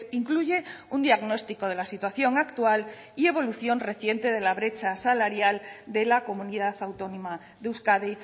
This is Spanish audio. incluye un diagnóstico de la situación actual y evolución reciente de la brecha salarial de la comunidad autónoma de euskadi